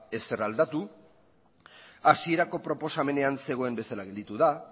ezer aldatu hasierako proposamenean zegoen bezala gelditu da